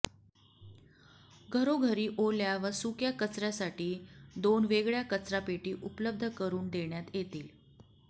घरोघरी ओल्या व सुक्या कचऱयासाठी दोन वेगळय़ा कचरापेटी उपलब्ध करून देण्यात येतील